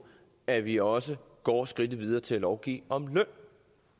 at vi også går skridtet videre til at lovgive om løn